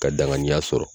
Ka danganiya sɔrɔ